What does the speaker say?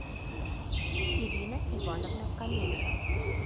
ирина ивановна камейша